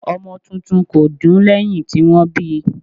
ọmọ titun kò dún lẹ́hìn tí wọ́n bíi.